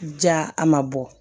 Ja a ma bɔ